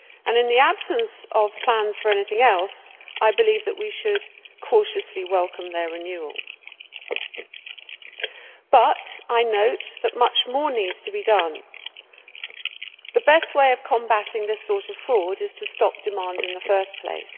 In the absence of plans for anything else, I believe that we should cautiously welcome their renewal, but I note that much more needs to be done. The best way of combating this sort of fraud is to stop demand in the first place.